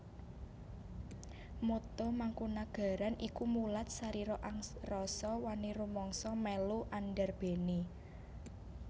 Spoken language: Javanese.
Motto Mangkunagaran iku Mulat sarira angrasa wani rumangsa mélu andarbéni